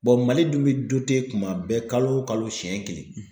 Mali dun bɛ kuma bɛɛ kalo o kalo siyɛn kelen.